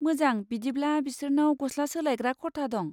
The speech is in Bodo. मोजां, बिदिब्ला बिसोरनाव गस्ला सोलायग्रा खथा दं।